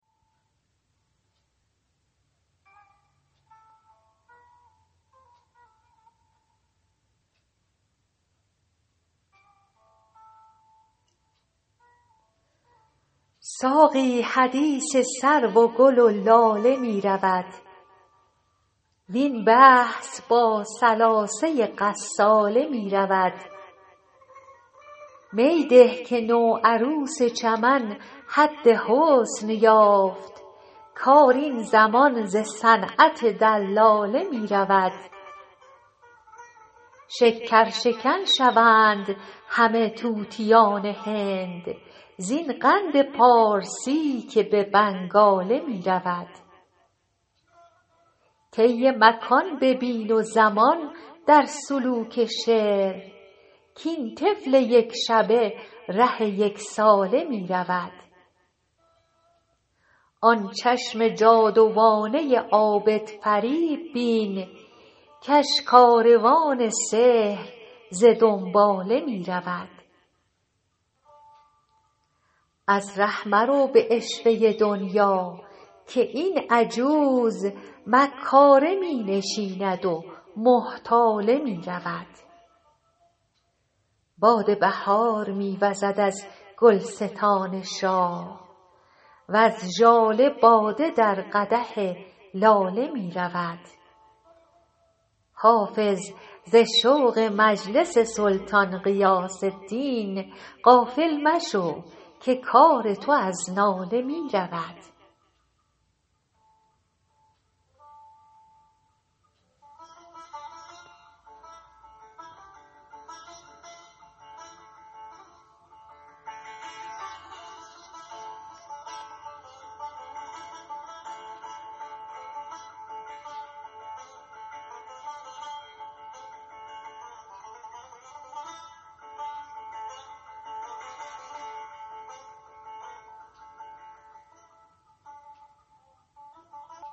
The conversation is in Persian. ساقی حدیث سرو و گل و لاله می رود وین بحث با ثلاثه غساله می رود می ده که نوعروس چمن حد حسن یافت کار این زمان ز صنعت دلاله می رود شکرشکن شوند همه طوطیان هند زین قند پارسی که به بنگاله می رود طی مکان ببین و زمان در سلوک شعر کاین طفل یک شبه ره یک ساله می رود آن چشم جادوانه عابدفریب بین کش کاروان سحر ز دنباله می رود از ره مرو به عشوه دنیا که این عجوز مکاره می نشیند و محتاله می رود باد بهار می وزد از گلستان شاه وز ژاله باده در قدح لاله می رود حافظ ز شوق مجلس سلطان غیاث دین غافل مشو که کار تو از ناله می رود